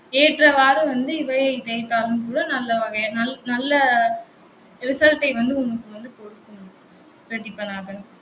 ஏற்றவாறு வந்து இவையை தேய்த்தாலும் கூட நல்ல வகை நல்~ நல்ல result ஐ வந்து உங்களுக்கு வந்து கொடுக்கும் பிரதீபநாதன்